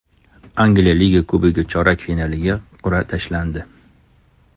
Angliya Liga Kubogi chorak finaliga qur’a tashlandi.